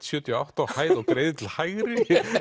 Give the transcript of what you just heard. sjötíu og átta á hæð og greiðir til hægri